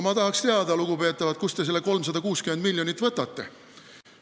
Ma tahaks teada, lugupeetavad, kust te selle 360 miljonit võtate.